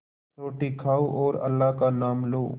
रोटी खाओ और अल्लाह का नाम लो